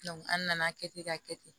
an nana kɛ ten ka kɛ ten